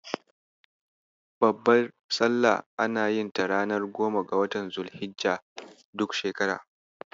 Babbar Salla ana yin ta ranar goma ga watan Zul-hijja, duk shekara.